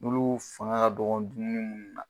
Olu fanga ka dɔgɔ dumuni munnu na